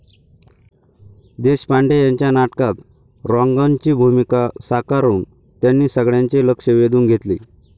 देशपांडे यांच्या नाटकात 'रॉन्गन' ची भूमिका साकारून त्यांनी सगळ्यांचे लक्ष्य वेधून घेतले.